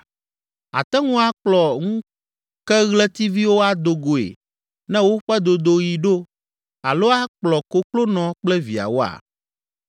Àte ŋu akplɔ ŋukeɣletiviwo ado goe ne woƒe dodoɣi ɖo alo akplɔ koklonɔ kple viawoa?